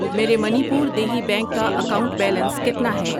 میرے منی پور دیہی بینک کا اکاؤنٹ بیلنس کتنا ہے؟